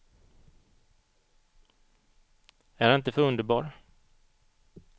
Är han inte för underbar?